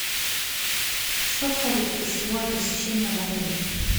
что входит в гостевое посещение в отеле